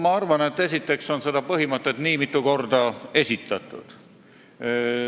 Ma arvan, esiteks, et seda põhimõtet on nii mitu korda esitatud.